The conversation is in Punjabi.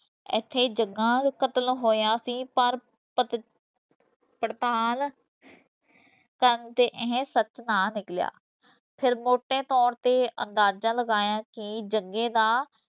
ਇੱਥੇ ਹੀ ਜੱਗਾ ਕਤਲ ਹੋਇਆ ਸੀ ਪਰ ਪਤ ਪੜਤਾਲ ਕਰਨ ਤੇ ਇਹ ਸੱਚ ਨਾ ਨਿਕਲਿਆ, ਫਿਰ ਮੋਟੇ ਤੌਰ ਤੇ ਅੰਦਾਜ਼ਾ ਲਗਾਇਆ ਕਿ ਜੱਗੇ ਦਾ